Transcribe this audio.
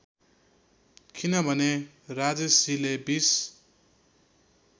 किनभने राजेशजीले २०